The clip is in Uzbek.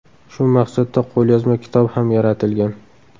Shu maqsadda qo‘lyozma kitob ham yaratilgan.